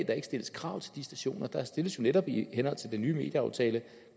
der ikke stilles krav til de stationer der stilles jo netop i henhold til den nye medieaftale